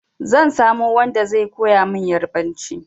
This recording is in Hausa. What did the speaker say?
Zan samo wanda zai koya min Ƴarbanci.